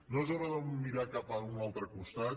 no és hora de mirar cap a un altre costat